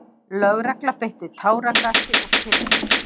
Lögregla beitti táragasi og kylfum.